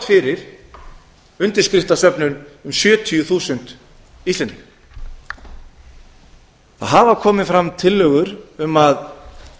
undirskriftasöfnun um sjötíu þúsund íslendinga það af komið fram tillögur um að